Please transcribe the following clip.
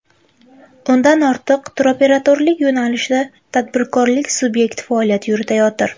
O‘ndan ortiq turoperatorlik yo‘nalishida tadbirkorlik subyekti faoliyat yuritayotir.